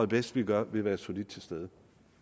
bedst vi gør ved at være solidt til stede